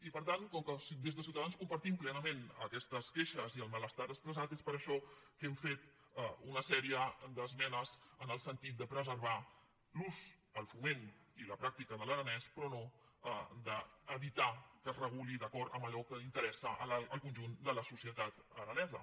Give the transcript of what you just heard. i per tant com que des de ciutadans compartim plenament aquestes queixes i el malestar expressat és per això que hem fet una sèrie d’esmenes en el sentit de preservar l’ús el foment i la pràctica de l’aranès però no d’evitar que es reguli d’acord amb allò que interessa el conjunt de la societat aranesa